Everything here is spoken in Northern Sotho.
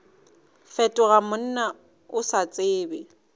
fetoga monna o sa tsebe